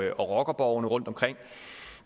og rockerborgene rundtomkring